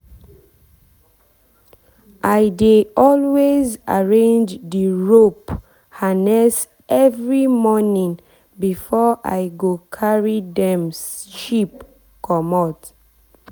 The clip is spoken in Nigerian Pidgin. i dey always arrange the rope harness every morning before i go carry dem sheep comot.